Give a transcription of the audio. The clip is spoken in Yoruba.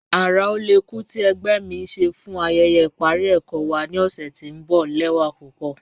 Ara ọlẹ́kù ti ẹ̀gbẹ́ mi n ṣè fún ayẹyẹ iparí ẹkọ wa ni ọṣẹ̀ tí n bọ lẹwa pupọ.